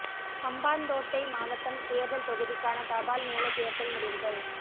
ஹம்பாந்தோட்டை மாவட்டம் தேர்தல் தொகுதிக்கான தபால் மூல தேர்தல் முடிவுகள்